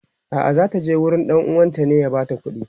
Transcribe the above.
a'a zata je gurin ɗan uwanta ne ya bata kudi